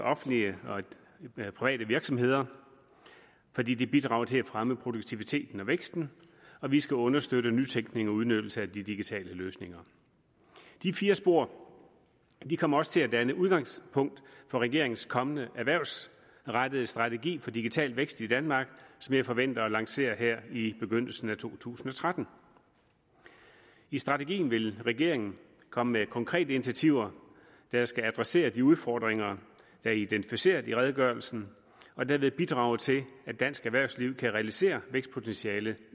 offentlige og i private virksomheder fordi det bidrager til at fremme produktiviteten og væksten og vi skal understøtte nytænkning og udnyttelse af de digitale løsninger de fire spor kommer også til at danne udgangspunkt for regeringens kommende erhvervsrettede strategi for digital vækst i danmark som jeg forventer at lancere her i begyndelsen af to tusind og tretten i strategien vil regeringen komme med konkrete initiativer der skal adressere de udfordringer der er identificeret i redegørelsen og derved bidrage til at dansk erhvervsliv kan realisere vækstpotentialet